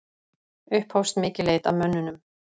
Upphófst mikil leit að mönnunum